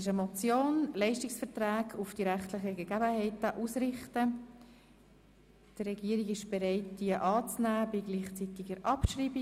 Die Regierung ist bereit, diese Motion anzunehmen und gleichzeitig abzuschreiben.